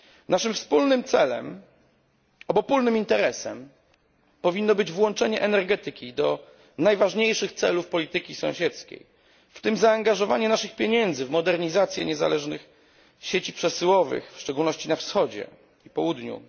Naszym wspólnym celem, obopólnym interesem, powinno być włączenie energetyki do najważniejszych celów polityki sąsiedzkiej, w tym zaangażowanie naszych pieniędzy w modernizację niezależnych sieci przesyłowych, w szczególności na wschodzie i południu.